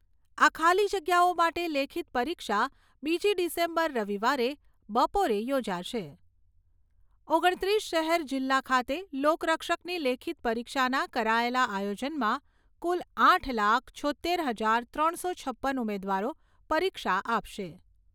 આ ખાલી જગ્યાઓ માટેની લેખિત પરીક્ષા બીજી ડિસેમ્બર રવિવારે બપોરે યોજાશે. ઓગણત્રીસ શહેર જિલ્લા ખાતે લોકરક્ષકની લેખિત પરીક્ષાના કરાયેલા આયોજનમાં કુલ આઠ લાખ, છોત્તેર હજાર ત્રણસો છપ્પન ઉમેદવારો પરીક્ષા આપશે.